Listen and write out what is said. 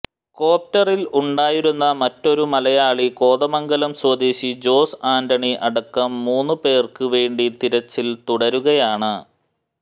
കോപ്റ്ററിൽ ഉണ്ടായിരുന്ന മറ്റൊരു മലയാളി കോതമംഗലം സ്വദേശി ജോസ് ആൻറണി അടക്കം മൂന്ന് പേർക്ക് വേണ്ടി തിരച്ചിൽ തുടരുകയാണ്